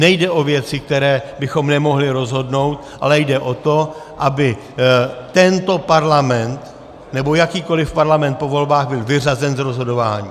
Nejde o věci, které bychom nemohli rozhodnout, ale jde o to, aby tento Parlament nebo jakýkoliv Parlament po volbách byl vyřazen z rozhodování.